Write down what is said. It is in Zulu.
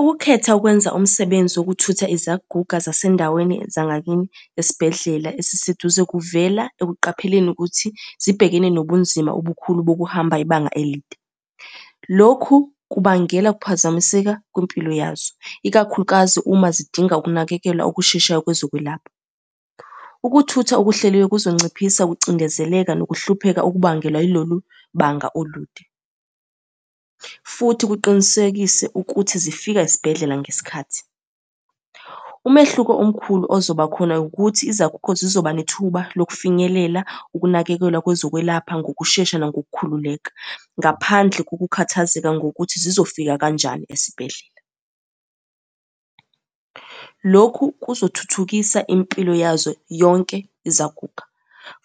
Ukukhetha ukwenza umsebenzi wokuthutha izaguga zasendaweni zangakini esibhedlela esiseduze kuvela ekuqapheni ukuthi zibhekene nobunzima obukhulu bokuhamba ibanga elide. Lokhu kubangela ukuphazamiseka kwimpilo yazo, ikakhulukazi uma zidinga ukunakekelwa okusheshayo kwezokwelapha. Ukuthutha okuhleliwe kuzonciphisa ukucindezeleka nokuhlupheka okubangelwa ilolu banga olude, futhi kuqinisekise ukuthi zifika esibhedlela ngesikhathi. Umehluko omkhulu ozoba khona ukuthi izagugo zizoba nethuba lokufinyelela ukunakekelwa kwezokwelapha ngokushesha nangokukhululeka, ngaphandle kokukhathazeka ngokuthi zizofika kanjani esibhedlela. Lokhu kuzothuthukisa impilo yazo yonke izaguga,